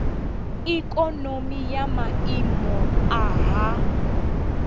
ikonomi ya maiimo a nha